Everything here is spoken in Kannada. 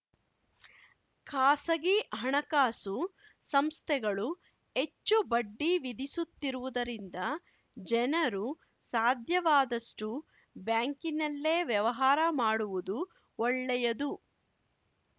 ಖಾಸಗಿ ಹಣಕಾಸು ಸಂಸ್ಥೆಗಳು ಹೆಚ್ಚು ಬಡ್ಡಿ ವಿಧಿಸುತ್ತಿರುವುದರಿಂದ ಜನರು ಸಾಧ್ಯವಾದಷ್ಟುಬ್ಯಾಂಕಿನಲ್ಲೇ ವ್ಯವಹಾರ ಮಾಡುವುದು ಒಳ್ಳೆಯದು